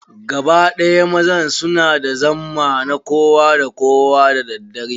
Gaba ɗaya mazan su na da zamma na kowa da kowa da daddare.